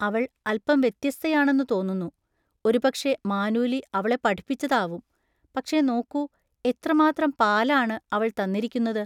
അവൾ അല്പം വ്യത്യസ്തയാണെന്നു തോന്നുന്നു. ഒരുപക്ഷെ മാനൂലി അവളെ പഠിപ്പിച്ചതാവും.പക്ഷെ നോക്കൂ, എത്രമാത്രം പാലാണ് അവൾ തന്നിരിക്കുന്നത്!